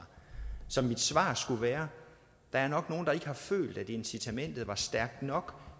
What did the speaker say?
så mit svar skal være der er nok nogle der ikke har følt at incitamentet var stærkt nok